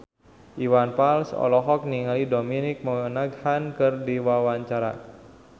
Iwan Fals olohok ningali Dominic Monaghan keur diwawancara